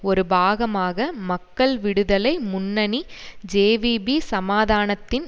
ஒரு பாகமாக மக்கள் விடுதலை முன்னணி ஜேவிபி சமாதானத்தின்